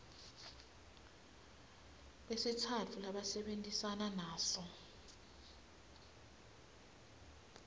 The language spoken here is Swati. besitsatfu labasebentisana naso